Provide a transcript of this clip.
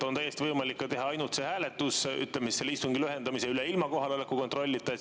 On täiesti võimalik ka teha ainult hääletus, ütleme siis, selle istungi lühendamise üle, ilma kohaloleku kontrollita.